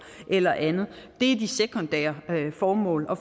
eller andet det er de sekundære formål og